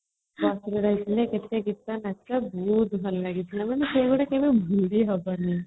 Bus ରହିଥିଲେ କେତେ ଗୀତ ନାଚ ବହୁତ ଭଲ ଲାଗିଥିଲା ମାନେ ସେ ଗୁଡ଼ାକ କେବେ ଭୁଲି ହବନି |